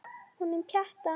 Honum Pjatta?